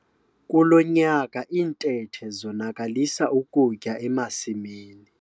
Kulo nyaka iintethe zonakalisa ukutya emasimini.